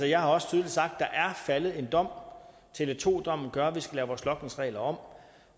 jeg har også tydeligt sagt at der er faldet en dom tele2 dommen gør at vi skal lave vores logningsregler om